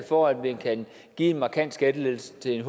for at man kan give en markant skattelettelse til en